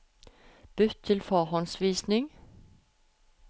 Bytt til forhåndsvisning